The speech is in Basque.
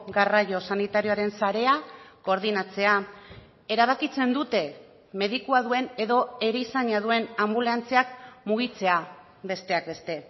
garraio sanitarioaren sarea koordinatzea erabakitzen dute medikua duen edo erizaina duen anbulantziak mugitzea besteak beste